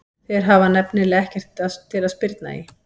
Þeir hafa nefnilega ekkert til að spyrna í.